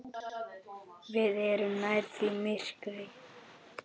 Við erum nærri því myrkur